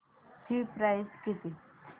ची प्राइस किती